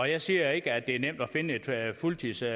jeg siger ikke at det er nemt at finde et fuldtidsjob